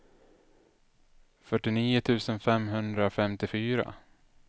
fyrtionio tusen femhundrafemtiofyra